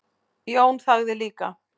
Jón þagði líka.